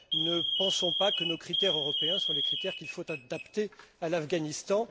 Ne pensons pas que nos critères européens sont les critères qu'il faut adapter à l'Afghanistan.